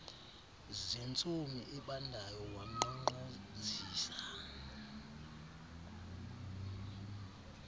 zentsomi ebandayo wankqonkqozisa